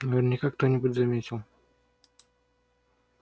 наверняка кто-нибудь заметил